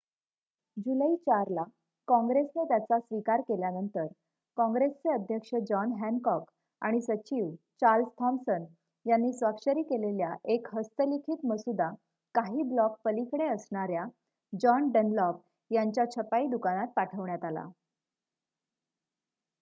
जुलै 4 ला कॉंग्रेसने त्याचा स्वीकार केल्यानंतर कॉंग्रेसचे अध्यक्ष जॉन हॅनकॉक आणि सचिव चार्ल्स थॉमसन यांनी स्वाक्षरी केलेल्या एक हस्तलिखित मसुदा काही ब्लॉक पलीकडे असणाऱ्या जॉन डनलॉप यांच्या छपाई दुकानात पाठवण्यात आला